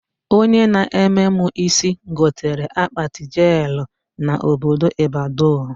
Onye na-eme mụ isi gotere akpati jelụ na obodo Ịbadọ